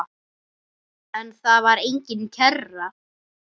En þar var engin kerra.